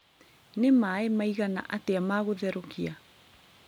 nĩ maaĩ maigana atya ma gũtherũkia